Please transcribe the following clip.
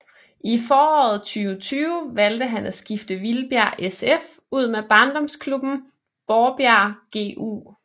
I foråret 2020 valgte han at skifte Vildbjerg SF ud med barndomsklubben Borbjerg GU